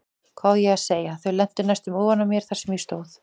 Hvað á ég að segja, þau lentu næstum ofan á mér þar sem ég stóð.